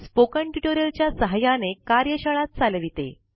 spoken tutorial च्या सहाय्याने कार्यशाळा चालविते